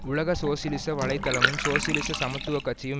உலக சோசியலிச வலை தளமும் சோசியலிச சமத்துவ கட்சியும்